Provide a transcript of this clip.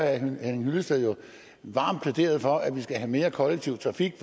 herre henning hyllested jo varmt plæderet for at vi skal have mere kollektiv trafik